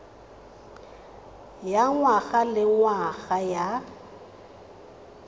ya ngwaga le ngwaga ya